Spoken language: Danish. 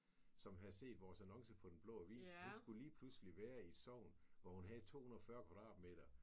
Som havde set vores annonce på Den Blå Avis hun skulle lige pludselig være i et sogn hvor hun havde 240 kvadratmeter